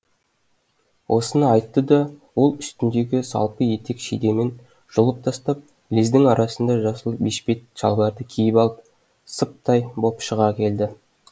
осыны айтты да ол үстіндегі салпы етек шидемін жұлып тастап лездің арасында жасыл бешпет шалбарды киіп алып сыптай боп шыға келді